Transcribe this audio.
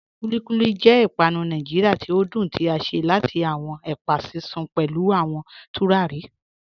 Kúlíkúlí jẹ̀ ìpànù Nàìjíríà tí o dún tí a ṣe láti awọn ẹpa sísun pẹ̀lú awọn tùràrí.